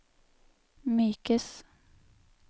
mykes